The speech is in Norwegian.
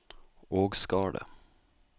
Ågskardet